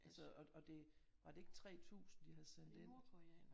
Altså og det var det ikke 3 tusind de havde sendt ind